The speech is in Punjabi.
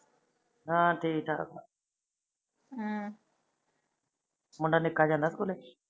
ਹਾ ਠੀਕ ਆ ਹਮ ਮੁੰਡਾ ਨਿਕਾ ਜਾਂਦਾ ਸਕੂਲੇ?